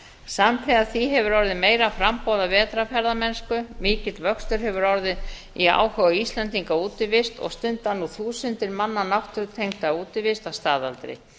samtíða því hefur orðið meira framboð af vetrarferðamennsku mikill vöxtur hefur orðið í áhuga íslendinga á útivist og stunda nú þúsundir manna náttúrutengda útivist að staðaldri